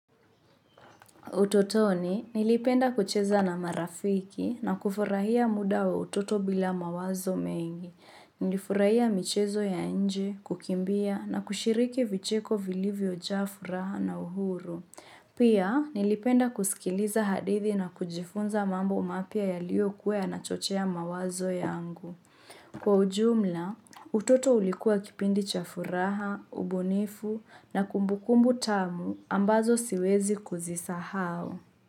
Utotoni, nilipenda kucheza na marafiki na kufurahia muda wa utoto bila mawazo mengi. Nilifurahia michezo ya nje, kukimbia na kushiriki vicheko vilivyo jaa furaha na uhuru. Pia, nilipenda kusikiliza hadithi na kujifunza mambo mapya yalio kuwa yanachochea mawazo yangu. Kwa ujumla, utoto ulikuwa kipindi cha furaha, ubunifu na kumbukumbu tamu ambazo siwezi kuzisahau.